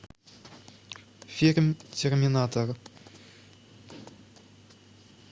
фильм терминатор